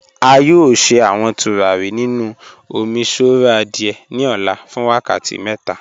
A yọ̀ọ̀ sẹ̀ awọn tùràrí nínu òmíṣọ̀rọ̀ adié ní ò̩là fún wákàtí mẹ́ta.